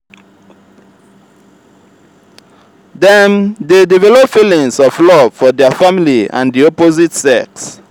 dem de develop feelings of love for their family and di opposite sex